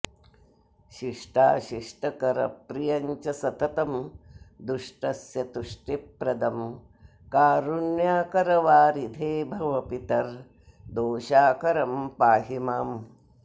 शिष्टाशिष्टकरप्रियं च सततं दुष्टस्य तुष्टिप्रदं कारुण्याकरवारिधे भव पितर्दोषाकरं पाहि माम्